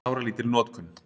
Sáralítil notkun